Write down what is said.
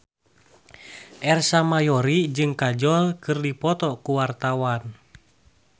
Ersa Mayori jeung Kajol keur dipoto ku wartawan